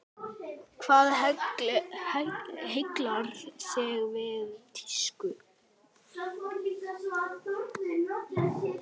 Hvað heillar þig við tísku?